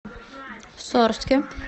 сорске